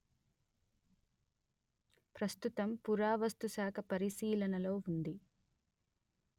ప్రస్తుతం పురావస్థుశాఖ పరిశీలనలో ఉన్నది